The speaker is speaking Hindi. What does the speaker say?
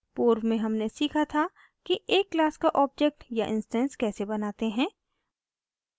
पूर्व में हमने सीखा था कि एक क्लास का ऑब्जेक्ट या इंस्टैंस कैसे बनाते हैं